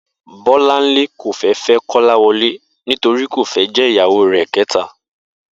Bó̩láńlé kò fé̩ fé̩ Kó̩láwo̩lé nítorí kò fé̩ jé̩ ìyàwó rè̩ ké̩ta